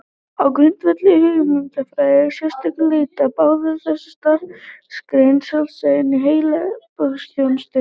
Á grundvelli hugmyndafræðilegrar sérstöðu leita báðar þessar starfsgreinar sjálfstæðis innan heilbrigðisþjónustunnar.